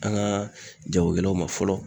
An ka jagokɛlaw ma fɔlɔ